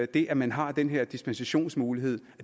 det at man har den her dispensationsmulighed